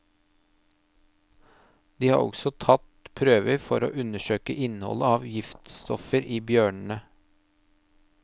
De har også tatt prøver for å undersøke innholdet av giftstoffer i bjørnene.